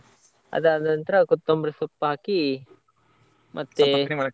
ಅದು ಆದ ನಂತ್ರ ಕೊತ್ತಂಬರಿ ಸೊಪ್ಪು ಹಾಕಿ ಮತ್ತೆ .